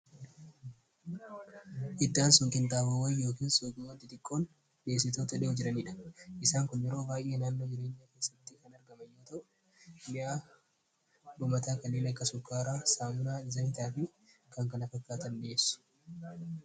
hiddaan sun qunxabowwan yookiin yookii wanti xiqqoon dhiyessitoota jiraniidha isaan kun yeroo baay'e naannoo jireenya keessatti kan argamayyoo ta'u mi'aa dhumataa kanneen akka sukaaraa saamunaa zamitaa fi kankana fakkaatan dhieessu